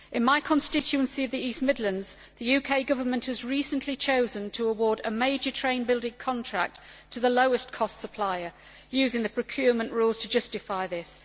In my constituency of the East Midlands, the UK Government has recently chosen to award a major train building contract to the lowest cost supplier, using the procurement rules to justify this.